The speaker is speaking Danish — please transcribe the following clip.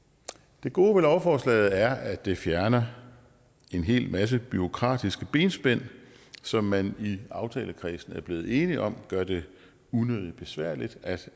det gode ved lovforslaget er at det fjerner en hel masse bureaukratiske benspænd som man i aftalekredsen er blevet enige om gør det unødig besværligt at